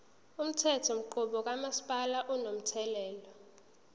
umthethonqubo kamasipala unomthelela